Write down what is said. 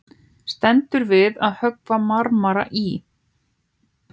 Stendur við að höggva marmara í